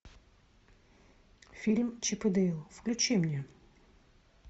фильм чип и дейл включи мне